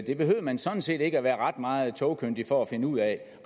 det behøvede man sådan set ikke at være ret meget togkyndig for at finde ud af